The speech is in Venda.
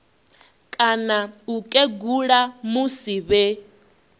kana u kegula musi vhe